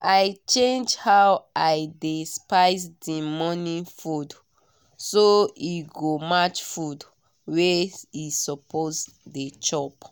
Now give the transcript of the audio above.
i change how i dey spice the morning food so e go match food wey e suppose dey chop